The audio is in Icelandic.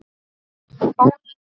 Ólík örlög.